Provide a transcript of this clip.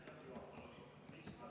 Aitäh, juhataja!